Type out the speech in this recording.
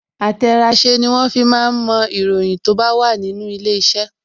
Àtẹ̀ràsẹ́ ni wọ́n fi máa ń mo ìròyìn tó bá wà nínú ilé iṣẹ́